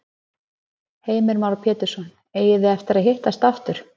Heimir Már Pétursson: Eigið þið eftir að hittast aftur?